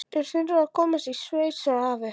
Þeir þurfa að komast í sveit, sagði afi.